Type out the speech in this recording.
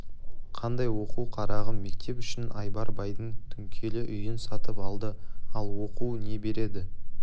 қандай оқу қарағым мектеп үшін айбар байдың түнкелі үйін сатып алды ал ол оқу не береді